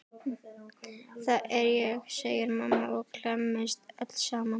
Það er ég, segir mamma og klemmist öll saman.